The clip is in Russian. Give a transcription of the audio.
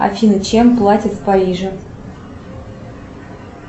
афина чем платят в париже